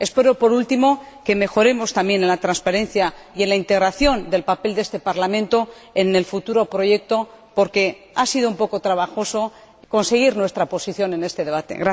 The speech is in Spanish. Espero, por último, que mejoremos también en la transparencia y en la integración del papel de este Parlamento en el futuro proyecto porque ha sido un poco trabajoso conseguir nuestra posición en este debate.